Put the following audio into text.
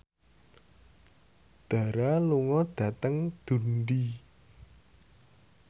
Dara lunga dhateng Dundee